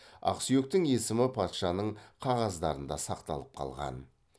ақсүйектің есімі патшаның қағаздарында сақталып қалған